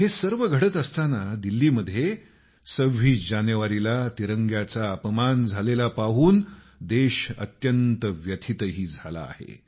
हे सर्व घडत असताना दिल्लीत 26 जानेवारीला तिरंग्याचा अपमान झालेला पाहून देश अत्यंत व्यथितही झाला आहे